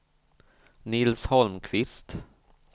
Nils Holmqvist